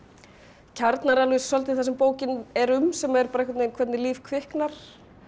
kjarnar alveg svolítið það sem bókin er um sem er bara um hvernig líf kviknar